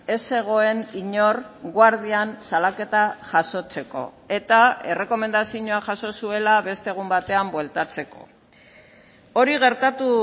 ez zegoen inor guardian salaketa jasotzeko eta errekomendazioa jaso zuela beste egun batean bueltatzeko hori gertatu